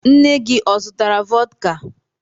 Nne gị ọ zụtara vọdka?